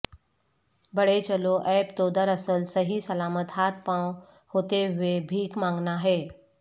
بڑھے چلو عیب تو دراصل صحیح سلامت ہاتھ پاوں ہوتے ہوئے بھیک مانگنا ہے